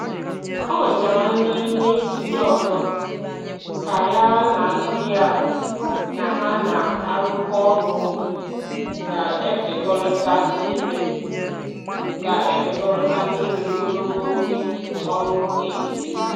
O wetara nri nri ndị ọzọ ka ya na ndị ya na ha na-arụkọ ọrụ ga-ekekọrịta n'ime ga-ekekọrịta n'ime ogologo oge ọrụ ehihie.